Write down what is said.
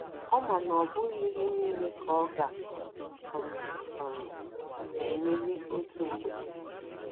Ọ ma na ọ bụghị ihe niile ka ọ ga um - um - emeli otu mgbe.